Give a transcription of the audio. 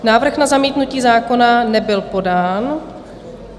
Návrh na zamítnutí zákona nebyl podán.